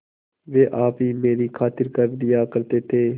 वे आप ही मेरी खातिर कर दिया करते थे